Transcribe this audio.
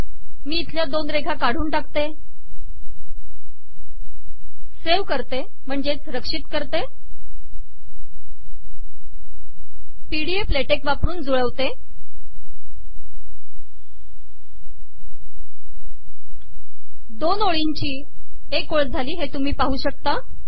मी इथल्या दोन रेघा काढून टाकतो सेव्ह करतो P D F LaTeX वापरून जुळवतो दोन ओळींची एक ओळ झाली हे तुम्ही पाहू शकता